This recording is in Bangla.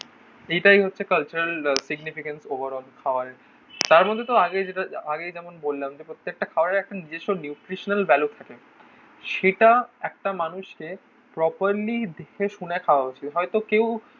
এটাই হচ্ছে কালচারাল সিগনিফিকেন্স ওভারঅল খাওয়ারের তার মধ্যে তো আগে যেটা আগেই যেমন বললাম যে প্রত্যেকটা খাবারের একটা নিজস্ব নিউট্রিশনাল ভ্যালু থাকে সেটা একটা মানুষে প্রপারলি দেখে শুনে খাওয়া উচিত হয়তো কেউ